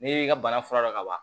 N'i y'i ka bana fura dɔn ka ban